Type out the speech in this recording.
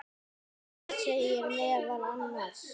Það segir meðal annars